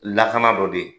Lakana dɔ de ye